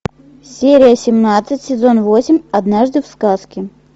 серия семнадцать сезон восемь однажды в сказке